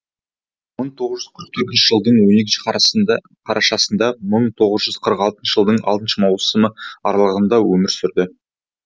бір мың тоғыз жүз қырық төртінші жылдың он екінші қарашасынан бірмың тоғыз жүз қырық алтыншы жылдың алтыны маусымы аралығында өмір сүрді